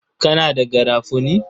Kana da garafuni?